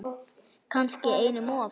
Kannski einum of.